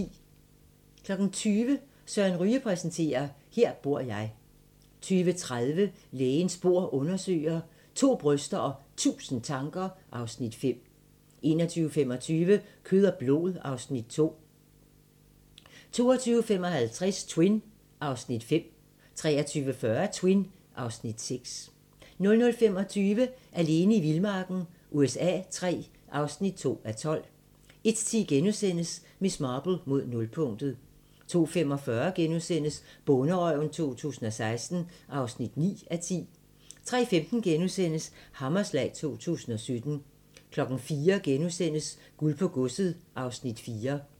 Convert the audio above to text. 20:00: Søren Ryge præsenterer - Her bor jeg 20:30: Lægens bord undersøger: To bryster og 1000 tanker (Afs. 5) 21:25: Kød og blod (Afs. 2) 22:55: Twin (Afs. 5) 23:40: Twin (Afs. 6) 00:25: Alene i vildmarken USA III (2:12) 01:10: Miss Marple: Mod nulpunktet * 02:45: Bonderøven 2016 (9:10)* 03:15: Hammerslag 2017 * 04:00: Guld på godset (Afs. 4)*